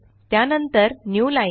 त्या नंतर न्यूलाईन